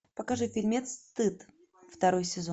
покажи фильмец стыд второй сезон